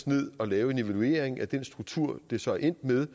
ned og laver en evaluering af den struktur det så er endt med